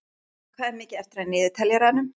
Saga, hvað er mikið eftir af niðurteljaranum?